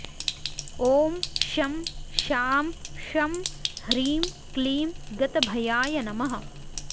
ॐ शं शां षं ह्रीं क्लीं गतभयाय नमः